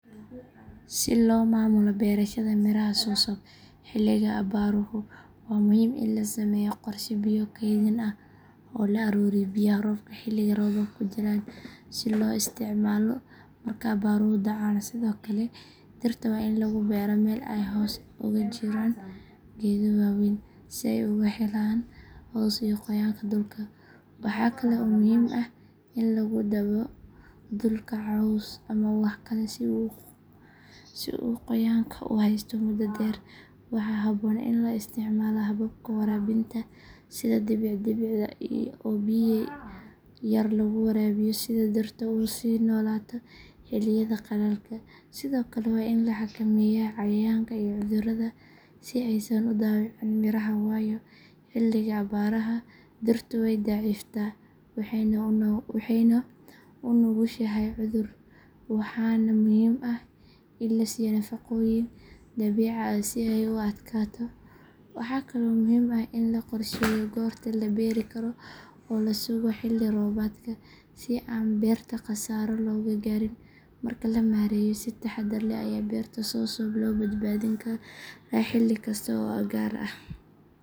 Si loo maamulo beerashada miraha soursoup xilliga abaaruhu waa muhiim in la sameeyo qorshe biyo kaydin ah oo la ururiyo biyaha roobka xilliga roobabku jiraan si loo isticmaalo marka abaaruhu dhacaan sidoo kale dhirta waa in lagu beeraa meel ay hoos uga jiraan geedo waaweyn si ay uga helaan hoos iyo qoyaanka dhulka waxaa kale oo muhiim ah in lagu dabo dhulka caws ama wax kale si uu qoyaanka u haysto muddo dheer waxaa habboon in la isticmaalo hababka waraabinta sida dhibic dhibicda oo biyo yar lagu waraabiyo si dhirta u sii noolaato xilliyada qallalka sidoo kale waa in la xakameeyaa cayayaanka iyo cudurada si aysan u dhaawicin miraha waayo xilliga abaaraha dhirtu way daciiftaa waxayna u nugushahay cudur waxaana muhiim ah in la siiyo nafaqooyin dabiici ah si ay u adkaato waxaa kale oo muhiim ah in la qorsheeyo goorta la beeri karo oo la sugo xilli roobaadka si aan beerta khasaaro looga gaarin markaa la maareeyo si taxaddar leh ayaa beerta soursoup loo badbaadin karaa xilli kasta oo abaar ah.